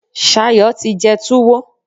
Sayo ti jẹ túwó.